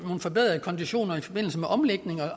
nogle forbedrede konditioner i forbindelse med omlægning